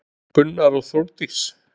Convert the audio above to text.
Gunnar og Þórdís.